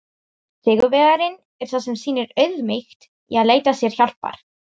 Sigurvegarinn er sá sem sýnir auðmýkt í að leita sér hjálpar!